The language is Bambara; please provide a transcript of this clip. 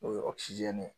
O ye ye